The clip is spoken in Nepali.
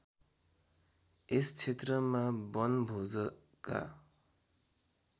यस क्षेत्रमा वनभोजका